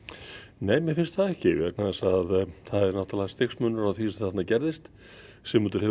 nei mér finnst það ekki vegna þess að það er stigsmunur á því sem þarna gerðist Sigmundur hefur